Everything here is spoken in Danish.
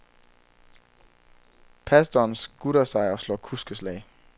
Pastoren skutter sig og slår kuskeslag.